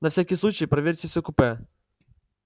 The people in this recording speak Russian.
на всякий случай проверьте все купе